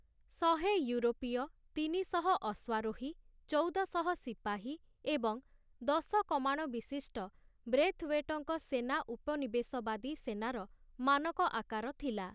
ଶହେ ୟୁରୋପୀୟ, ତିନିଶହ ଅଶ୍ୱାରୋହୀ, ଚଉଦଶହ ସିପାହୀ ଏବଂ ଦଶ କମାଣ ବିଶିଷ୍ଟ ବ୍ରେଥୱେଟଙ୍କ ସେନା ଉପନିବେଶବାଦୀ ସେନାର ମାନକ ଆକାର ଥିଲା ।